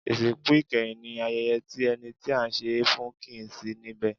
Ìsìnkú ìkẹyìn ní ayẹyẹ tí ẹni tí à ń ṣe e fún kìí sí níbẹ̀.